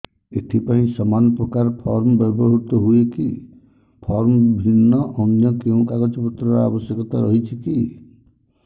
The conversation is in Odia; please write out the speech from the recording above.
ଏଥିପାଇଁ ସମାନପ୍ରକାର ଫର୍ମ ବ୍ୟବହୃତ ହୂଏକି ଫର୍ମ ଭିନ୍ନ ଅନ୍ୟ କେଉଁ କାଗଜପତ୍ରର ଆବଶ୍ୟକତା ରହିଛିକି